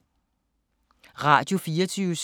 Radio24syv